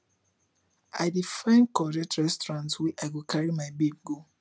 i dey find correct restaurant wey i go carry my babe go